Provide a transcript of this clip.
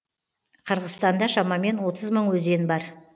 қырғызстанда шамамен отыз мың өзен бар